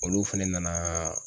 Olu fɛnɛ nana